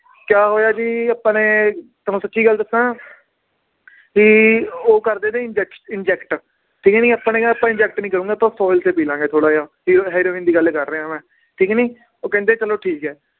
ਕਿਆ ਹੋਇਆ ਵੀ ਆਪਾਂ ਨੇ ਤੁਹਾਨੂੰ ਸੱਚੀ ਗੱਲ ਦੱਸਾਂ ਵੀ ਉਹ ਕਰਦੇ inject ਠੀਕ ਨੀ ਆਪਾਂ ਨੇ ਕਿਹਾ ਆਪਾਂ inject ਨੀ ਕਰੂੰਗਾ ਤੇ ਪੀ ਲਵਾਂਗੇ ਥੋੜ੍ਹਾ ਜਿਹਾ, ਹੀ~ ਹੈਰੋਇਨ ਦੀ ਗੱਲ ਕਰ ਰਿਹਾਂ ਮੈਂ, ਠੀਕ ਨੀ ਉਹ ਕਹਿੰਦੇ ਚਲੋ ਠੀਕ ਹੈ